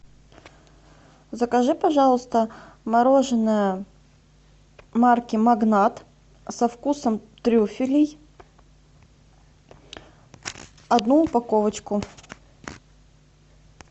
закажи пожалуйста мороженое марки магнат со вкусом трюфелей одну упаковочку